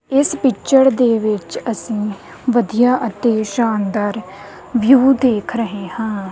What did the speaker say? ਇਸ ਪਿੱਚਰ ਦੇ ਵਿੱਚ ਅਸੀਂ ਵਧੀਆ ਅਤੇ ਸ਼ਾਨਦਾਰ ਵਿਊ ਦੇਖ ਰਹੇ ਹਾਂ।